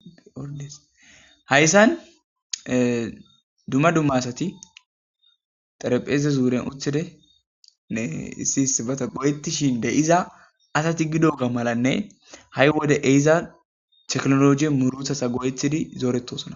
Ordeshayssan dumma dumma asati xerepheeze zuuren uthidenne issi isibata goyettishin de iza asati gidoga malanne ha'i wode eiza teknologi muruthasa goyetidi zooretosona.